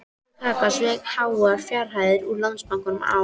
Jói kaka sveik háar fjárhæðir út úr Landsbankanum á